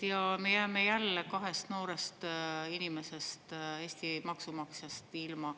Ja me jääme jälle kahest noorest inimesest, Eesti maksumaksjast ilma.